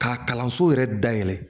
K'a kalanso yɛrɛ dayɛlɛ